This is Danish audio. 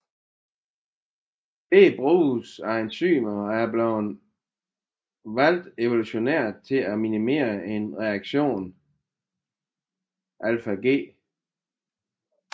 Begge bruges af enzymer og er blevet valgt evolutionært til at minimere en reaktions ΔG